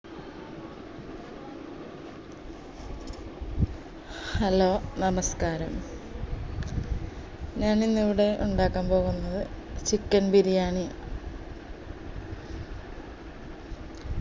hello നമസ്കാരം ഞാൻ ഇന്നിവിടെ ഇണ്ടാക്കാൻ പോകുന്നത് chicken ബിരിയാണി